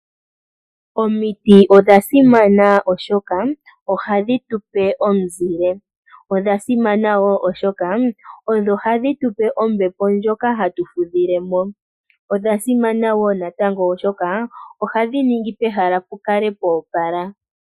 Omiti odha simana oshoka ohadhi tupe omuzile. Odha simana wo oshoka ohadhi odho hadhi tupe ombepo ndjoka hatu fudhilemo. Odha simana wo natango oshoka ohadhi ninge pehala pu kale po opala.